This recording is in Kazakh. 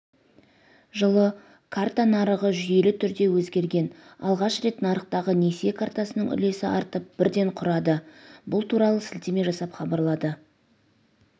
жылы карта нарығы жүйелі түрде өзгерген алғаш рет нарықтағы несие картасының үлесі артып бірден құрады бұл туралы сілтеме жасап хабарлады